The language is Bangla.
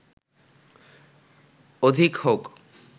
অধিক হউক